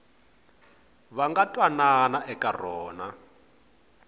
va nga twanana eka rona